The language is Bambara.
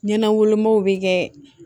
Ɲɛnɛ wolomaw bi kɛ